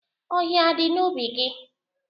Ọhịa adị n'ubi gị?